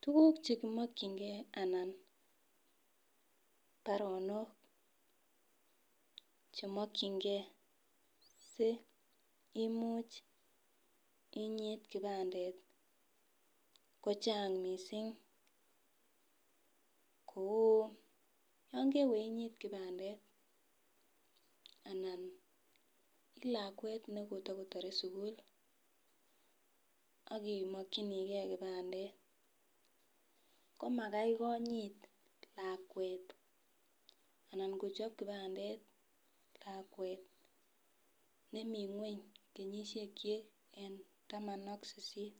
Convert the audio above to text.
Tukuk chemokingee anan baronok chemokingee simuch inyit kipandet kochang missing ko yon kewe inyit kipandet anan ilakwet nekotokotore sukul ak imokinigee kipandet, komakai kinyit lakwet anan kochob kipandet lakwet nemii ngweny kenyoshek chik en taman ak sisit.